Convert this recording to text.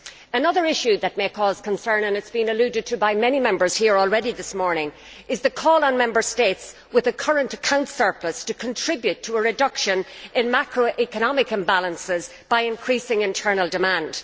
Another issue which may cause concern and has been alluded to by many Members here this morning is the call for Member States with a current account surplus to contribute to a reduction in macroeconomic imbalances by increasing internal demand.